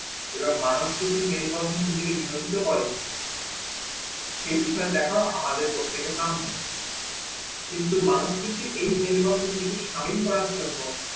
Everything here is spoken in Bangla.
এবার মানুস্থিতি মেল বন্ধনে নিজেকে নিয়োজিত করে সেই বিষয়ে দেখো আমাদের পক্ষে এটি কাম্য, কিন্তু মানুস্থিতি এই মেল বন্ধনে সামিল করার জন্য